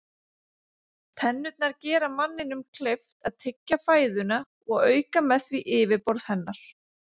Tennurnar gera manninum kleift að tyggja fæðuna og auka með því yfirborð hennar.